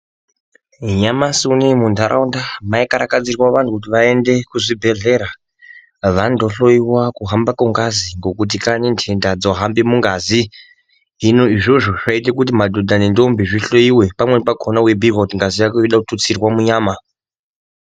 Nyamasi unou mundaraunda maikarakadzirwa vantu kuzi vaende kuzvibhehlera vandohloyiwa kuhamba kwengazi ngekuti kanyi ndenda dzohambe mungazi. Hino izvozvo zvayiite kuti madhonda nendombi zvihloyiwe pamweni pakona weibhuyirwe kuzi ngazi yako inode kuti itutsirwe munyama.